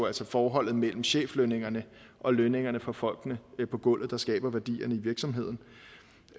altså forholdet mellem cheflønningerne og lønningerne for folkene på gulvet der skaber værdierne i virksomheden